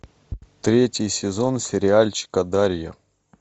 третий сезон сериальчика дарья